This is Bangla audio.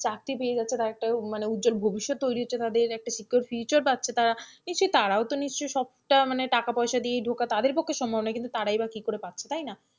চাকরি পেয়ে যাচ্ছে তারা একটা উজ্জ্বল ভবিষ্যৎ তৈরি হচ্ছে তাদের একটা secure future পারছে তারা, নিশ্চই তারাও তো নিশ্চয়ই সবটা মানে টাকা-পয়সা দিয়ে ধোকা তাদের পক্ষে সম্ভব নয়, তারই বা কি করে পাচ্ছে তাই না,